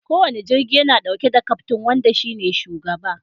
Kowane jirgi yana dauke da kaftin wanda shi ne shugaba.